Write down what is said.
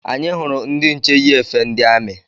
Anyị hụrụ ndị nche yi efe ndi amị